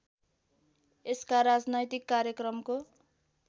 यसका राजनैतिक कार्यक्रमको